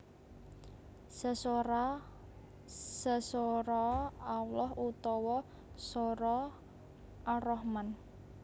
Sesoraa Sesoraa Allah utawa soraa Ar Rahman